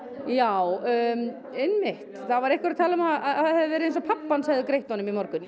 já einmitt það var einhver að tala um að það hefði verið eins og pabbi hans hefði greitt honum í morgun